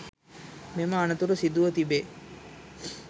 මෙම අනතුර සිදුව තිබේ